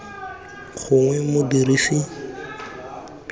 gongwe modirisi yo mongwe wa